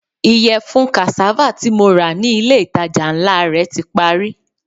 Iyẹfun cassava ti mo ra ni ile itaja nla rẹ ti pari